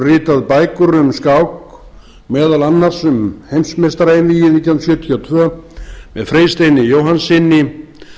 ritað bækur um skák meðal annars um heimsmeistaraeinvígið nítján hundruð sjötíu og tvö með freysteini jóhannssyni